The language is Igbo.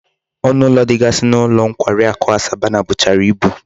Onu ulo digasi n'ulo nkwari aku Asabana buchara ibu